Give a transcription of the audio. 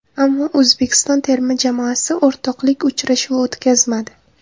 Ammo O‘zbekiston terma jamoasi o‘rtoqlik uchrashuvi o‘tkazmadi.